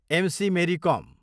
MC. Mary कोम